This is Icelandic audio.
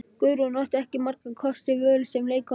Guðrún átti ekki margra kosta völ sem leikkona á Íslandi.